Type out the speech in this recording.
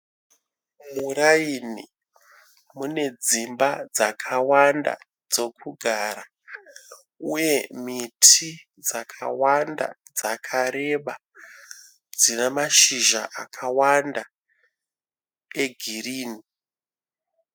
Muraini mune dzimba dzakawanda dzokugara uye miti dzakawanda dzakareba dzina mashizha akawanda egirini.